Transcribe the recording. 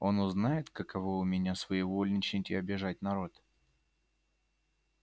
он узнает каково у меня своевольничать и обижать народ